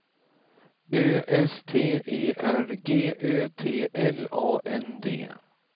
Ö S T E R G Ö T L A N D